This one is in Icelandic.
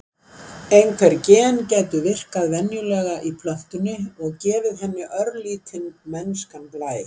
Einhver gen gætu virkað venjulega í plöntunni, og gefið henni örlítinn mennskan blæ.